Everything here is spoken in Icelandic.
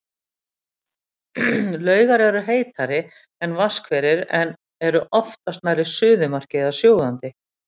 Laugar eru heitari, en vatnshverir eru oftast nærri suðumarki eða sjóðandi.